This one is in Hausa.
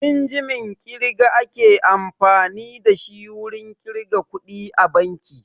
Injimin ƙirga ake amfani da shi wurin ƙirga kuɗi a banki